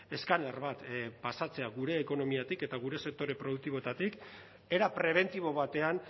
eskaner bat pasatzea gure ekonomiatik eta gure sektore produktiboetatik era prebentibo batean